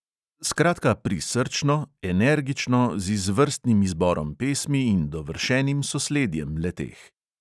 Skratka, (pri)srčno, energično, z izvrstnim izborom pesmi in dovršenim sosledjem le-teh.